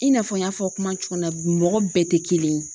I n'a fɔ n y'a fɔ kuma mɔgɔ bɛɛ tɛ kelen ye.